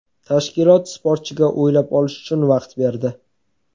Tashkilot sportchiga o‘ylab olish uchun vaqt berdi.